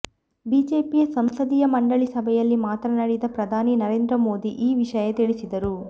ಬಿಜೆಪಿಯ ಸಂಸದೀಯ ಮಂಡಳಿ ಸಭೆಯಲ್ಲಿ ಮಾತನಾಡಿದ ಪ್ರಧಾನಿ ನರೇಂದ್ರ ಮೋದಿ ಈ ವಿಷಯ ತಿಳಿಸಿದರು